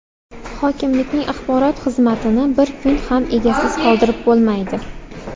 Hokimlikning axborot xizmatini bir kun ham egasiz qoldirib bo‘lmaydi.